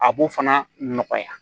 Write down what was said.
A b'o fana nɔgɔya